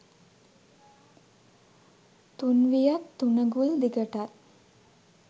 තුන් වියත් තුනඟුල් දිගටත්